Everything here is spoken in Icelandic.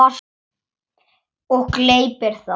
Og gleypir það.